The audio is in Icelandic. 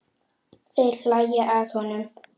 Þeir hlæja að honum.